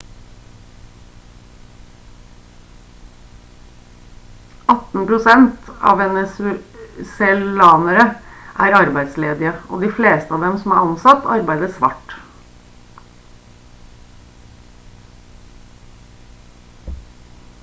18 prosent av venezuelanere er arbeidsledige og de fleste av dem som er ansatt arbeider svart